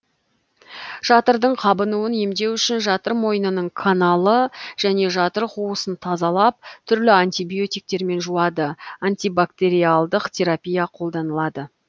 жатырдың қабынуын емдеу үшін жатыр мойнының каналы және жатыр қуысын тазалап түрлі антибиотиктермен жуады антибактериалдық терапия қолданылады